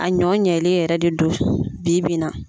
A ɲɔ ɲɛlen yɛrɛ de do bi bi in na.